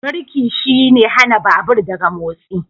Birki shine hana babur daga motsi.